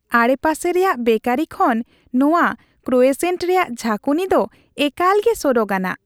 ᱟᱲᱮᱯᱟᱥᱮ ᱨᱮᱭᱟᱜ ᱵᱮᱠᱟᱨᱤ ᱠᱷᱚᱱ ᱱᱚᱶᱟ ᱠᱨᱳᱭᱮᱥᱮᱹᱱᱴ ᱨᱮᱭᱟᱜ ᱡᱷᱟᱠᱩᱱᱤ ᱫᱚ ᱮᱠᱟᱞᱜᱮ ᱥᱚᱨᱚᱜᱼᱟᱱᱟᱜ ᱾